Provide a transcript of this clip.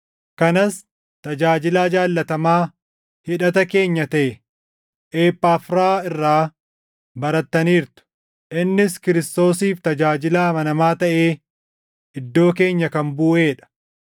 Kanas tajaajilaa jaallatamaa hidhata keenya taʼe Ephaafiraa irraa barattaniirtu; innis Kiristoosiif tajaajilaa amanamaa taʼee iddoo keenya kan buʼee dha;